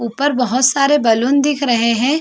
ऊपर बहुत सारे बलून दिख रहे हैं।